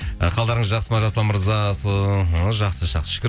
і қалдарыңыз жақсы ма жасұлан мырза жақсы жақсы шүкір